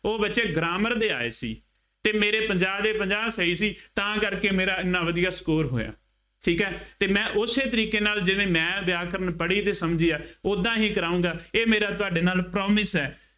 ਉਹ ਬੱਚੇ grammar ਦੇ ਆਏ ਸੀ ਅਤੇ ਮੇਰੇ ਪੰਜਾਹ ਦੇ ਪੰਜਾਹ ਸਹੀ ਸੀ ਤਾਂ ਕਰਕੇ ਮੇਰਾ ਐਨਾ ਵਧੀਆ score ਹੋਇਆ, ਠੀਕ ਹੈ ਅਤੇ ਮੈਂ ਉਸੇ ਤਰੀਕੇ ਨਾਲ ਜਿਵੇਂ ਮੈਂ ਵਿਆਕਰਣ ਪੜ੍ਹੀ ਅਤੇ ਸਮਝੀ ਆ, ਉਦਾਂ ਹੀ ਕਰਾਊਂਗਾ, ਇਹ ਮੇਰਾ ਤੁਹਾਡੇ ਨਾਲ promise ਹੈ।